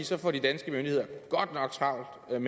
så får de danske myndigheder godt nok travlt